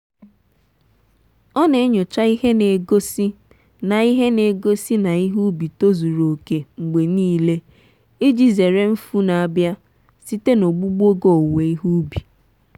ọ na-enyocha ihe na-egosi na ihe na-egosi na ihe ubi tozuru oke mgbe niile iji zere mfu n'abia site na ogbugbu oge owuwe ihe ubi.